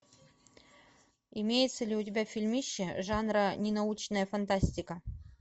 имеется ли у тебя фильмище жанра ненаучная фантастика